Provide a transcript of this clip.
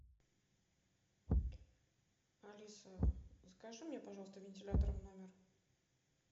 алиса закажи мне пожалуйста вентилятор в номер